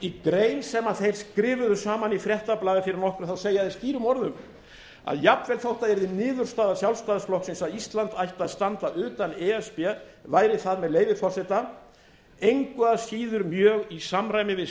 í grein sem þeir skrifuðu saman í fréttablaðið fyrir nokkru segja þeir skýrum orðum að jafnvel þó það yrði niðurstaða sjálfstæðisflokksins að ísland ætti að standa utan e s b væri það með leyfi forseta engu að síður mjög í samræmi við